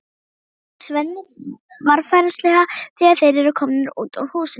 spyr Svenni varfærnislega þegar þeir eru komnir út úr húsinu.